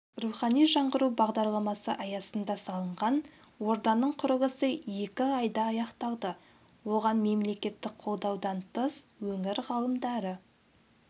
рухани жаңғыру бағдарламасы аясында салынған орданың құрылысы екі айда аяқталды оған мемлекеттік қолдаудан тыс өңір ғалымдары